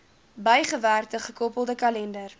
bygewerkte gekoppelde kalender